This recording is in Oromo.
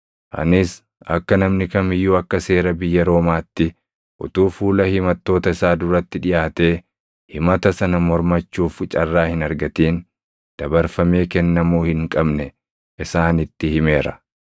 “Anis akka namni kam iyyuu akka seera biyya Roomaatti utuu fuula himattoota isaa duratti dhiʼaatee himata sana mormachuuf carraa hin argatin dabarfamee kennamuu hin qabne isaanitti himeera.